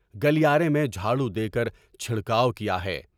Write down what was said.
گلیارے میں جھاڑو دے کر چھڑکاو کیا ہے۔